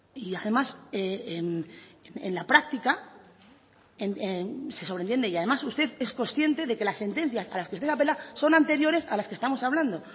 y además en la práctica se sobreentiende y además usted es consciente de que las sentencias a las que usted apela son anteriores a las que estamos hablando